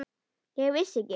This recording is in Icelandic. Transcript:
Ég vissi ekki.